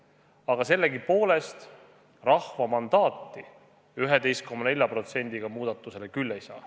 Aga sellegipoolest rahva mandaati 11,4% häältega muudatusel küll ei ole.